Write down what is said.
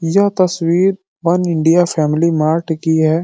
यह तस्वीर one India family mart की है।